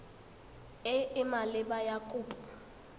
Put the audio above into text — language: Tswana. e e maleba ya kopo